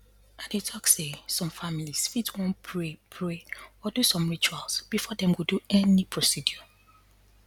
i dey talk say some families fit wan pray pray or do some rituals before dem go do any procedure